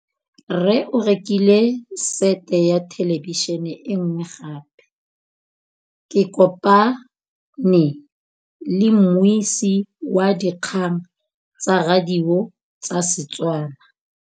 Rre o rekile sete ya thêlêbišênê e nngwe gape. Ke kopane mmuisi w dikgang tsa radio tsa Setswana.